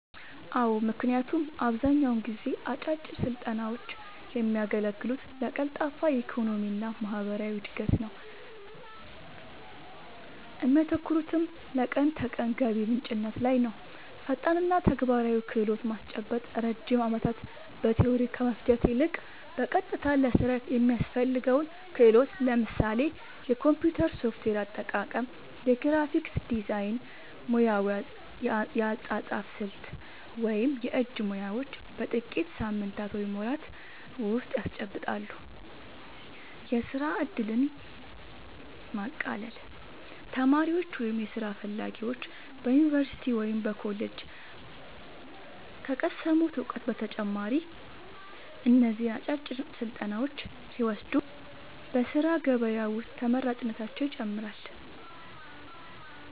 አዎ ምክንያቱም አብዛኛውን ጊዜ አጫጭር ስልጠናውች የሚያገለግሉት ለቀልጣፋ የኢኮኖሚና ማህበራዊ እድገት ነው እሚያተኩሩትም ለቀን ተቀን ገቢ ምንጭነት ላይ ነውፈጣንና ተግባራዊ ክህሎት ማስጨበጥ ረጅም ዓመታት በቲዎሪ ከመፍጀት ይልቅ፣ በቀጥታ ለሥራ የሚያስፈልገውን ክህሎት (ለምሳሌ የኮምፒውተር ሶፍትዌር አጠቃቀም፣ የግራፊክስ ዲዛይን፣ ሙያዊ የአጻጻፍ ስልት ወይም የእጅ ሙያዎች) በጥቂት ሳምንታት ወይም ወራት ውስጥ ያስጨብጣሉ። የሥራ ዕድልን ማቃለል : ተማሪዎች ወይም ሥራ ፈላጊዎች በዩኒቨርሲቲ ወይም በኮሌጅ ከቀሰሙት እውቀት በተጨማሪ እነዚህን አጫጭር ስልጠናዎች ሲወስዱ በሥራ ገበያ ውስጥ ተመራጭነታቸውን ይጨምረዋል።